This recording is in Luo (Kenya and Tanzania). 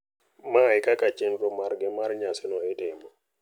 Ma ekaka chenro margi mar nyasino itimo.